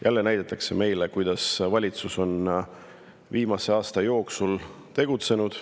Jälle näidatakse meile, kuidas valitsus on viimase aasta jooksul tegutsenud.